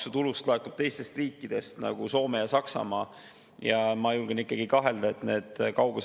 Kõik need hasartmänguga tegelevad tegelinskid on öelnud, et madal maksumäär on Eestile suur konkurentsieelis ja meelitab siia hasartmängukorraldajaid.